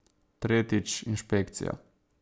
Tretjič, inšpekcija.